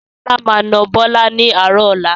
Sọlá máa na Bọlá ni àárọ̀ ọ̀la